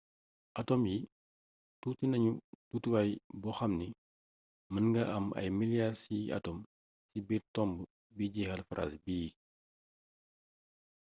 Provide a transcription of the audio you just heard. atome yi tuuti nañu tuutiwaay boo xamni mën nga am ay miliyaar ciy atome ci biir tomb bii jeexal phrase bii